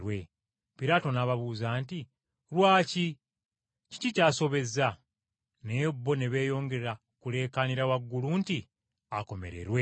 Piraato n’ababuuza nti, “Lwaki, kiki ky’asobezza?” Naye bo ne beeyongera kuleekaanira waggulu nti, “Akomererwe!”